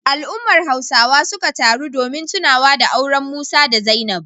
Al'ummar Hausawa suka taru domin tunawa da auren Musa da Zainab.